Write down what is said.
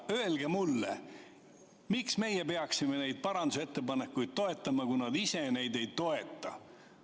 Öelge mulle, miks meie peaksime neid parandusettepanekuid toetama, kui nad ise neid ei toeta.